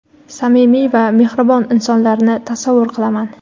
samimiy va mehribon insonlarni tasavvur qilaman.